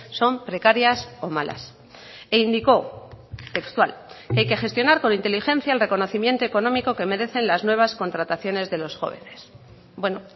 son precarias o malas e indicó textual que hay que gestionar con inteligencia el reconocimiento económico que merecen las nuevas contrataciones de los jóvenes bueno